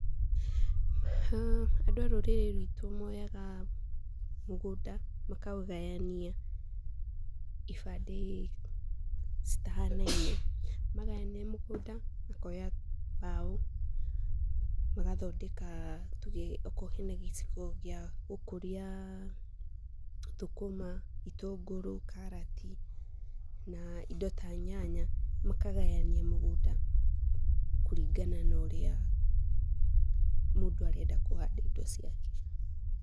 Andũ a rũrĩrĩ ruitũ moyaga, mũgũnda, makaũgayania, ibandĩ citahanaine. Magayania mũgũnda makoya mbaũ, magathondeka, tuge okorwo hena gĩcigo gĩ gũkũria, thũkũma, itũngũrũ karati, na indo ta nyanya, makagania mũgũnda, kũringana na ũrĩa, mũndũ arenda kuhanda indo ciake.